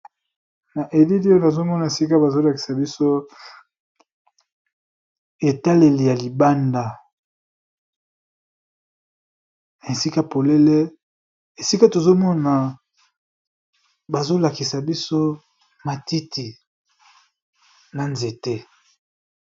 Na elili oyo azomona sika bazolakisa biso etaleli ya libanda na esika polele esika tozomona bazolakisa biso matiti na nzete.